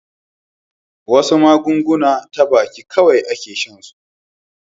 wasu magani ta baki kawai a ke shan su